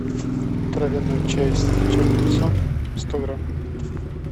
травяной чай с чабрецом сто грамм